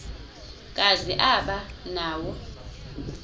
kazi aba nawo